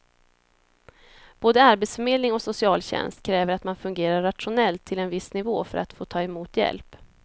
Både arbetsförmedling och socialtjänst kräver att man fungerar rationellt till en viss nivå för att få ta emot hjälp.